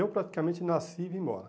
Eu praticamente nasci e vim embora.